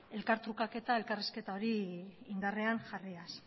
elkartrukaketa elkarrizketa hori indarrean jarriaz